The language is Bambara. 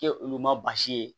K'e olu ma baasi ye